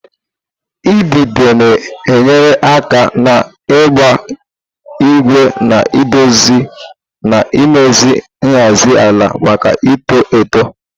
idide na-enyere aka n'ịgba ígwè na-edozi na imezi nhazi ala maka ito eto.